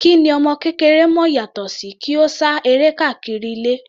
Kí ni ọmọ kékeré mọ̀ yàtọ sí kí ó sá eré káàkiri ilé.